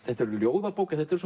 þetta er ljóðabók en þetta eru